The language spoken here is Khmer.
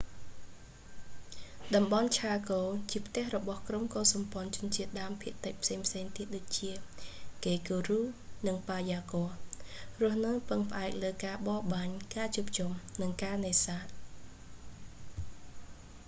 តំបន់ឆាកូ ជាផ្ទះរបស់ក្រុមកុលសម្ព័ន្ធជនជាតិដើមភាគតិចផ្សេងៗទៀតដូចជា ហ្កេគូរូ និង ប៉ាយ៉ាហ្គ័រ រស់នៅពឹងផ្អែកលើការបរបាញ់ ការជួបជុំ និងការនេសាទ